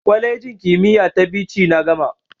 Kwalejin kimiyya ta Bichi na gama.